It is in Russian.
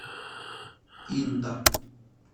инта